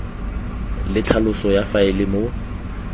le tlhaloso ya faele moo